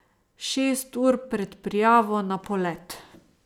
Šest ur pred prijavo na polet.